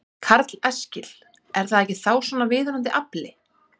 Karl Eskil: Er það ekki þá svona viðunandi afli?